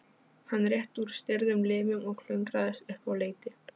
Hann rétti úr stirðum limum og klöngraðist upp á leiti.